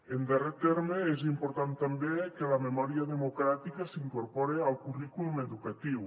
en darrer terme és important també que la memòria democràtica s’incorpore al currículum educatiu